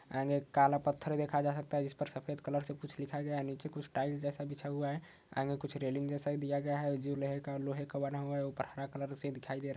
काला पत्थर देखा जा सकता है जिसपर सफेद कलर से कुछ लिखा गया है। नीचे कुछ टाइल्स के साथ बिछा हुआ है आगे कुछ जैसा दिया गया है जो लोहे का बना हुआ है ऊपर हरा कलर जैसा दिखाई दे रहा --